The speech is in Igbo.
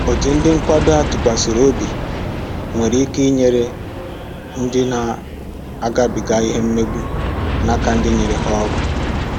Ọtu ndị nkwado a tụkwasịrị obi nwere ike inyere ndị ọrụ na-agabiga ìhè mmegbu na áká ndi nyere ha ọrụ